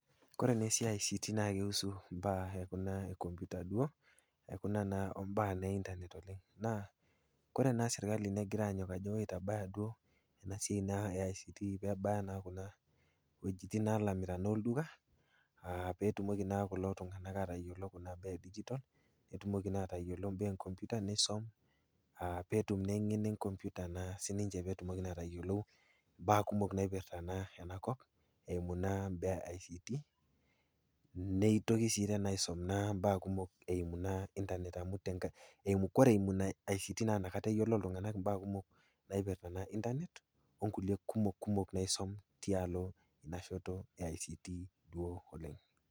Kore naa imbaa e ICT naa keihusu imbaa e kuna enkomputa duo, o kuna naa imbaa e internet oleng', naa ore ena sirkali naa keigira anyok ajo duo woi eitabaya ena siai e ICT pee ebaya naa kuna wuejitin naa naalamita olduka, pee etumoki naa kulo tung'ana naa atabaiki kuna baa e digitol, pee etumoki naa atayiolo imbaa enkopyuta neisom aa petum naa eng'eno enkompyuta naa sininche naa peetum atayiolou imbaa kumok naipirta naa enakop, eimu naa imbaa e ICT, neitoki naa sii teena aisom imbaa kumok eimu naa internet. Kore eimu ina ICT, naa inakata eyiolou iltung'ana imbaa kumok, naipirta naa internet o kulie kumok kumok naisom tilo ena shote e ICT duo oleng'.